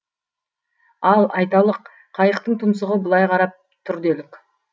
ал айталық қайықтың тұмсығы былай қарап тұр делік